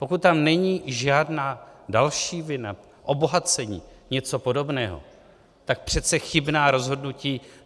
Pokud tam není žádná další vina, obohacení, něco podobného, tak přece chybná rozhodnutí...